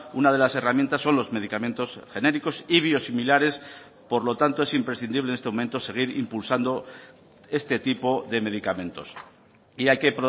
una de las herramientas son los medicamentos genéricos y biosimilares por lo tanto es imprescindible en este momento seguir impulsando este tipo de medicamentos y hay que